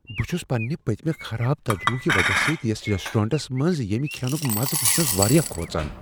بہٕ چھس پننِہ پٔتمہ خراب تجربہٕ کہ وجہ سۭتۍ یتھ ریسٹورنٹس منٛز ییمِہ کھینُک مزٕ وچھنس واریاہ کھوژان۔